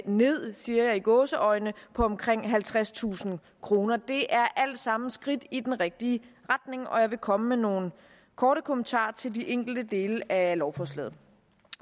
ned siger jeg i gåseøjne på omkring halvtredstusind kroner det er alt sammen skridt i den rigtige retning og jeg vil komme med nogle korte kommentarer til de enkelte dele af lovforslaget